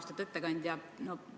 Austatud ettekandja!